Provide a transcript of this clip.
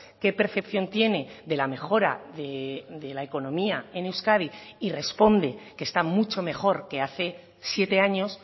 qué percepción tiene de la mejora de la economía en euskadi y responde que está mucho mejor que hace siete años